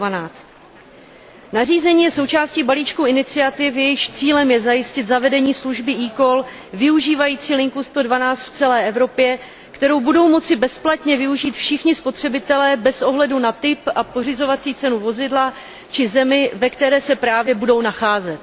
112. Nařízení je součástí balíčku iniciativy, jejíž cílem je zajistit zavedení služby eCall využívající linku 112 v celé Evropě, kterou budou moci bezplatně využít všichni spotřebitelé bez ohledu na typ a pořizovací cenu vozidla či zemi, ve které se právě budou nacházet.